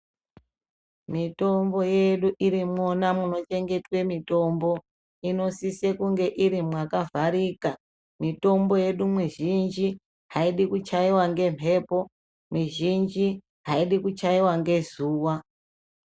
Mitombo yedu irimo mwona muno chegetwa mutombo inosise kunge iri makavharika mitombo yedu mizhinji hayidi kuchayiwa ngemhepo mizhinji haidi kuchaiwa nezuva.